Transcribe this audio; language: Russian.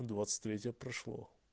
двадцать третье прошло